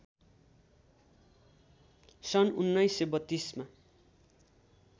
सन् १९३२ मा